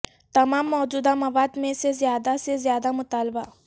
تمام موجودہ مواد میں سے زیادہ سے زیادہ مطالبہ